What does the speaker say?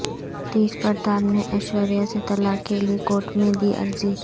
تیج پرتاپ نےایشوریا سے طلاق کیلئے کورٹ میں دی عرضی